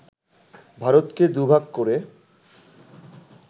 ভারতকে দুভাগ করে